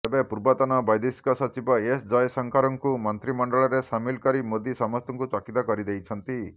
ତେବେ ପୂର୍ବତନ ବୈଦେଶିକ ସଚିବ ଏସ୍ ଜୟଶଙ୍କରଙ୍କୁ ମନ୍ତ୍ରିମଣ୍ଡଳରେ ସାମିଲ କରି ମୋଦୀ ସମସ୍ତଙ୍କୁ ଚକିତ କରିଦେଇଛନ୍ତି